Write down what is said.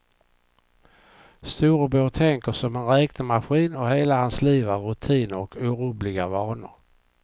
Storebror tänker som en räknemaskin och hela hans liv är rutiner och orubbliga vanor.